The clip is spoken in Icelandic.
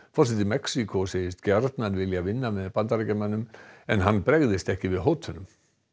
forseti Mexíkó segist gjarnan vilja vinna með Bandaríkjamönnum en hann bregðist ekki við hótunum